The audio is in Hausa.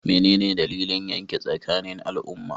Me ne dalilin yakin tsakanin al'umma?